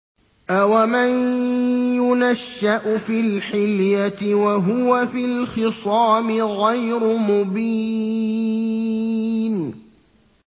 أَوَمَن يُنَشَّأُ فِي الْحِلْيَةِ وَهُوَ فِي الْخِصَامِ غَيْرُ مُبِينٍ